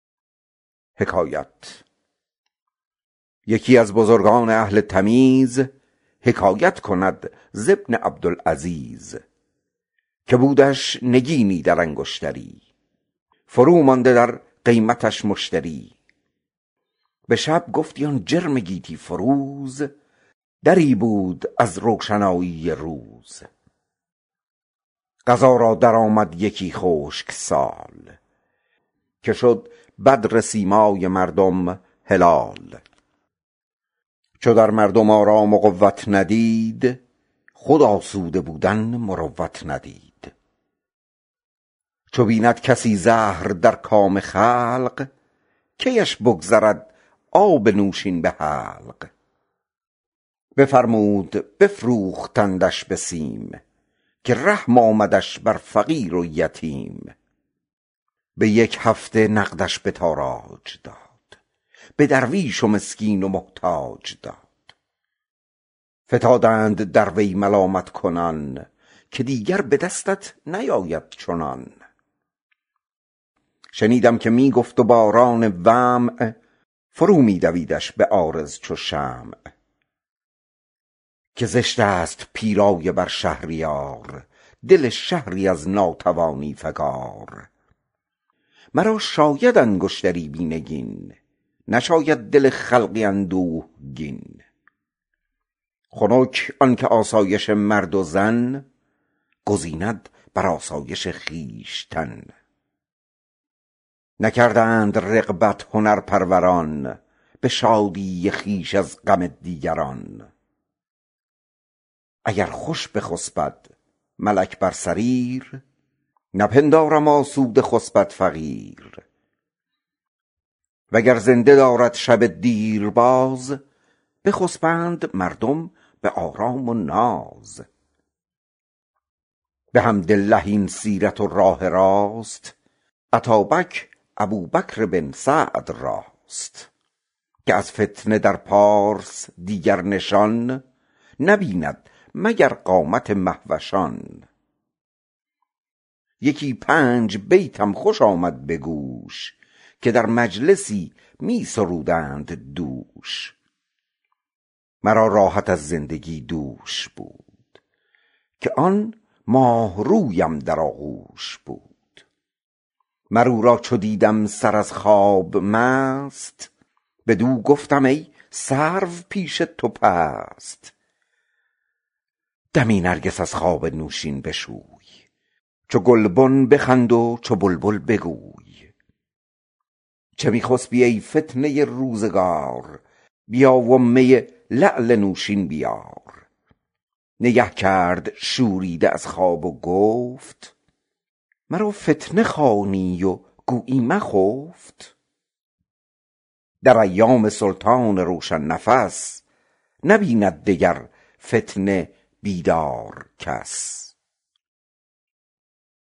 یکی از بزرگان اهل تمیز حکایت کند ز ابن عبدالعزیز که بودش نگینی در انگشتری فرو مانده در قیمتش جوهری به شب گفتی از جرم گیتی فروز دری بود از روشنایی چو روز قضا را درآمد یکی خشک سال که شد بدر سیمای مردم هلال چو در مردم آرام و قوت ندید خود آسوده بودن مروت ندید چو بیند کسی زهر در کام خلق کیش بگذرد آب نوشین به حلق بفرمود و بفروختندش به سیم که رحم آمدش بر غریب و یتیم به یک هفته نقدش به تاراج داد به درویش و مسکین و محتاج داد فتادند در وی ملامت کنان که دیگر به دستت نیاید چنان شنیدم که می گفت و باران دمع فرو می دویدش به عارض چو شمع که زشت است پیرایه بر شهریار دل شهری از ناتوانی فگار مرا شاید انگشتری بی نگین نشاید دل خلقی اندوهگین خنک آن که آسایش مرد و زن گزیند بر آرایش خویشتن نکردند رغبت هنرپروران به شادی خویش از غم دیگران اگر خوش بخسبد ملک بر سریر نپندارم آسوده خسبد فقیر وگر زنده دارد شب دیر باز بخسبند مردم به آرام و ناز بحمدالله این سیرت و راه راست اتابک ابوبکر بن سعد راست کس از فتنه در پارس دیگر نشان نبیند مگر قامت مهوشان یکی پنج بیتم خوش آمد به گوش که در مجلسی می سرودند دوش مرا راحت از زندگی دوش بود که آن ماهرویم در آغوش بود مر او را چو دیدم سر از خواب مست بدو گفتم ای سرو پیش تو پست دمی نرگس از خواب نوشین بشوی چو گلبن بخند و چو بلبل بگوی چه می خسبی ای فتنه روزگار بیا و می لعل نوشین بیار نگه کرد شوریده از خواب و گفت مرا فتنه خوانی و گویی مخفت در ایام سلطان روشن نفس نبیند دگر فتنه بیدار کس